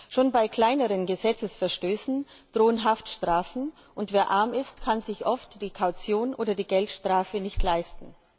Schon bei kleineren Gesetzesverstößen drohen Haftstrafen, und wer arm ist, kann sich oft die Kaution oder die Geldstrafe nicht leisten.